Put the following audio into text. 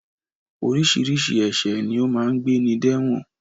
Oríṣiríṣi ẹ̀ṣẹ̀ ni ó máa ń gbéni de ẹ̀wọ̀n